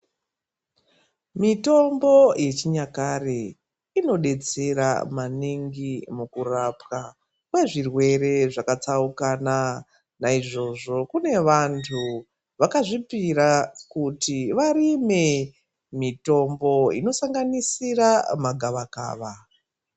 Mitombo yechinyakare inodetsera maningi mukurapwa kwezvirwere zvakatsaukana naizvozvo kune vantu vakazvipira kuti varime mitombo inosanganisira magavakava.